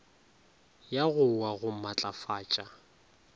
ya go wa go matlafatša